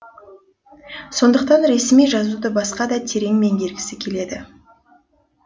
соныдқтан ресми жазуды басқада терең меңгергісі келеді